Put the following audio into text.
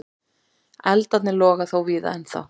Eldarnir loga þó víða ennþá.